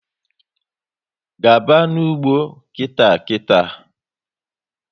Gaba n'ugbo nkịta nkịta!